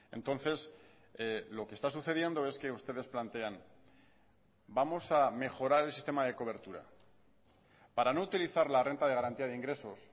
entonces lo que está sucediendo es que ustedes plantean vamos a mejorar el sistema de cobertura para no utilizar la renta de garantía de ingresos